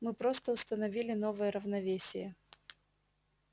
мы просто установили новое равновесие